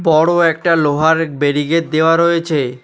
বড়ো একটা লোহার ব্যারিকেড দেওয়া রয়েছে।